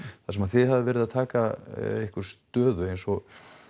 það sem að þið hafið verið að taka ykkur stöðu eins og